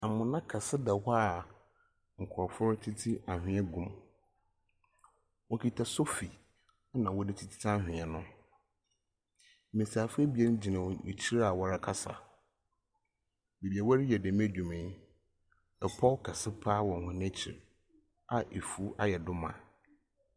Amuna kɛse da hɔ a nkurofoɔ tutu anwea gum. Wokita sofi ɛna wɔde tutu anwea no. Mbesiafo abien gyina wɔn akyi a wɔrekasa. Baabi a wɔreyɛ dɛm adwuma yi, ɛpɔw kesɛ paa wɔ wɔn akyi a afuw ayɛ do ma.